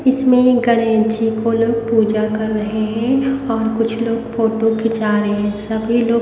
इसमें गणेश जी को लोग पूजा कर रहे हैं और कुछ लोग फोटो खींचा रहे हैं सभी लोग --